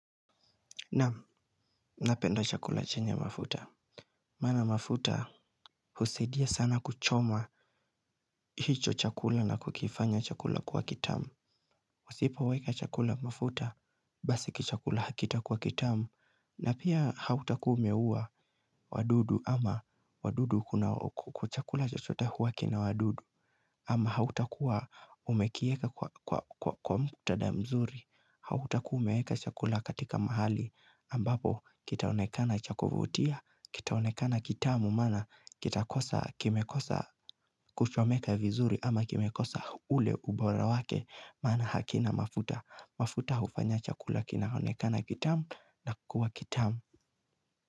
Naam, napenda chakula chenye mafuta. Maana mafuta, husaidia sana kuchoma hicho chakula na kukifanya chakula kuwa kitamu. Usipoweka chakula mafuta, basi kichakula hakitakuwa kitamu. Na pia hautakuwa umeua wadudu ama wadudu kuna kwa chakula chochote huwa kina wadudu. Ama hautakua umekieka kwa muktada mzuri. Hautakua umeeka chakula katika mahali ambapo kitaonekana cha kuvutia, kitaonekana kitamu maana kitakosa kimekosa kuchomeka vizuri ama kimekosa ule ubora wake maana hakina mafuta. Mafuta hufanya chakula kinaonekana kitamu na kuwa kitamu.